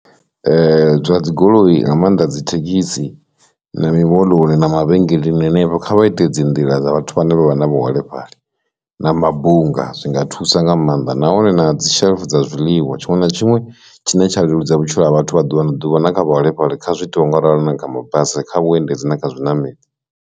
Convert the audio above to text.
Zwa dzi dzigoloi nga maanḓa dzi thekhisi na mimoḽoni na mavhengeleni henefha kha vhaite dzi nḓila dza vhathu vhane vha vha na vhuholefhali, na mabunga zwinga a thusa nga maanḓa nahone na dzi shelf dza zwiḽiwa tshiṅwe na tshiṅwe tshine tsha leludza vhutshilo ha vhathu vha ḓuvha na ḓuvha na kha vhaholefhali kha zwi itiwe nga u ralo na kha mabasi kha vhuendedzi na kha zwiṋameli.